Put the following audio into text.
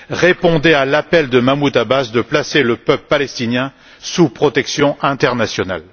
Répondez à l'appel de Mahmoud Abbas de placer le peuple palestinien sous protection internationale.